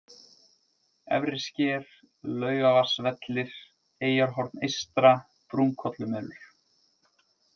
Efrisker, Laugarvatnsvellir, Eyjarhorn eystra, Brúnkollumelur